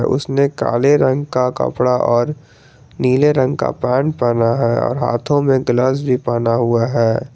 उसने काले रंग का कपड़ा और नीले रंग का पेंट पहना है और हाथों में ग्लव्स भी पहना हुआ है।